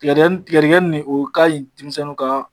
Tigɛdigɛni tigɛdigɛni nin o kaɲi denmisɛnnuw kaa